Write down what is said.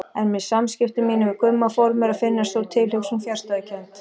En með samskiptum mínum við Gumma fór mér að finnast sú tilhugsun fjarstæðukennd.